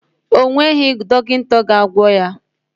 Ọ nweghị dọkịta ga-agwọ ya.